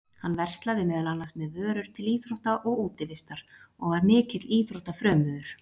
Hann verslaði meðal annars með vörur til íþrótta og útivistar og var mikill íþróttafrömuður.